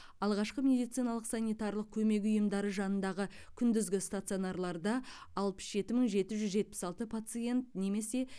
алғашқы медициналық санитариялық көмек ұйымдары жанындағы күндізгі стационарларда алпыс жеті мың жеті жүз жетпіс алты пациент немесе